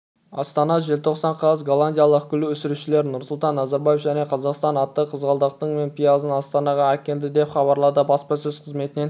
астана желтоқсан қаз голландиялық гүл өсірушілер нұрсұлтан назарбаев және қазақстан атты қызғалдақтың мың пиязын астанаға әкелді деп хабарлады баспасөз қызметінен